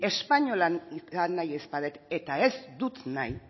espainola izan nahi ez badut eta ez dut nahi